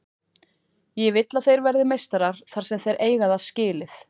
Ég vill að þeir verði meistarar þar sem þeir eiga það skilið.